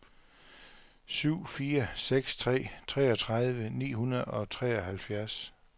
syv fire seks tre treogtredive ni hundrede og treoghalvfjerds